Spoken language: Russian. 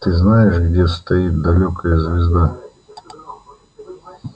ты знаешь где стоит далёкая звезда